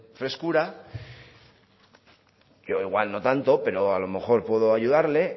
frescura yo igual no tanto pero a lo mejor puedo ayudarle